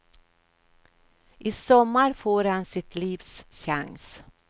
I sommar får han sitt livs chans.